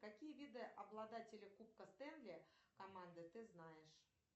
какие виды обладателя кубка стэнли команды ты знаешь